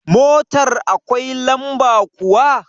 Motar akwai lamba kuwa?